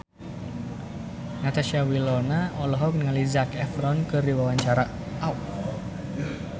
Natasha Wilona olohok ningali Zac Efron keur diwawancara